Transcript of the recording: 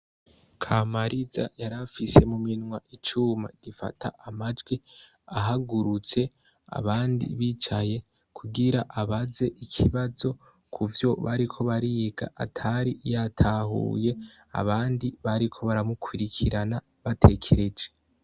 Kamariza yarafise mu minwa icuma gifata amajwi ahagurutse abandi bicaye kugira abaze ikibazo ku vyo bariko bariga atari yatahuye abandi bariko baramukurikirana batekereje.